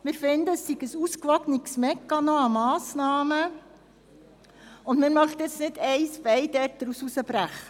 Aus unserer Sicht sind die Massnahmen ein ausgewogener Mechanismus, und wir möchten nicht einen Teil herausbrechen.